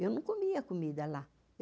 Eu não comia comida lá.